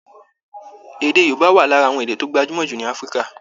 Èdè Yorùbá wà lara àwọn èdè tó gbajúmọ jù ní Africa